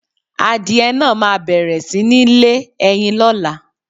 Àdie naà ma bẹẹ̀rẹ̀ si nì lé ẹyin ló̩la